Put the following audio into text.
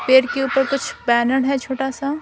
पेर के ऊपर कुछ बैनर है छोटा सा--